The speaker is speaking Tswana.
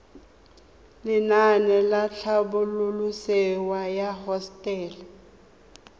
lenaane la tlhabololosewa ya hosetele